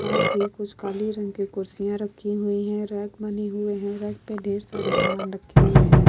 पास ही कुछ काली रंग की कुर्सियाँ रखी हुई हैं। रैक बने हुए हैं। रैक पर ढेर सारे सामान रखे हुए हैं।